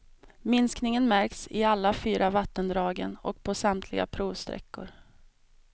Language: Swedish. Minskningen märks i alla fyra vattendragen och på samtliga provsträckor.